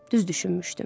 Düz düşünmüşdüm.